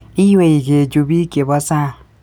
Iwei kechub biik chebo sang